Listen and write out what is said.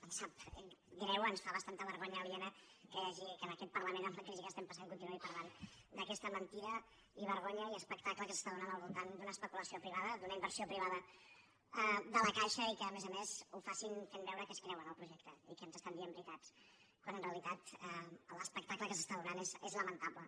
em sap greu ens fa bastanta vergonya aliena que aquest parlament amb la crisi que estem passant continuï parlant d’aquesta mentida i vergonya i espectacle que s’està donant al voltant d’una especulació privada d’una inversió privada de la caixa i que a més a més ho facin fent veure que es creuen el projecte i que ens estan dient veritats quan en realitat l’espectacle que s’està donant és lamentable